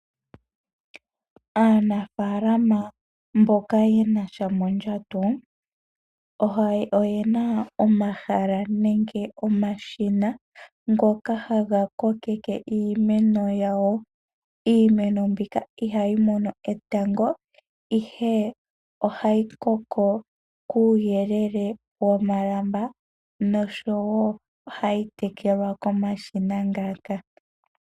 Aanafaalama mboka ye na sha mondjato oye na omahala nenge omashina ngoka haga kokeke iimeno yawo. Iimeno mbika ihayi mono etango, ihe ohayi koko kuuyelele womalamba noshowo ohayi tekelwa komashina ngaka.